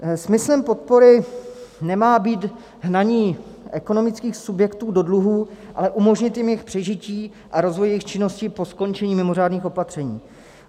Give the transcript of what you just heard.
Smyslem podpory nemá být hnaní ekonomických subjektů do dluhů, ale umožnit jim jejich přežití a rozvoj jejich činnosti po skončení mimořádných opatření.